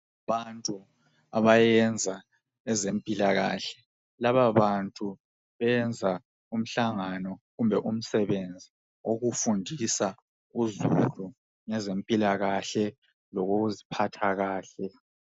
Abantu abayenza ngezempilakahle, laba bantu benza umhlangano kumbe umsebenzi owokufundisa izulu ngezempilakahle lokuziphatha kahle.